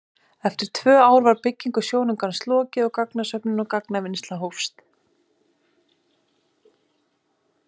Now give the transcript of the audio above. Eftir tvö ár var byggingu sjónaukans lokið og gagnasöfnun og gagnavinnsla hófst.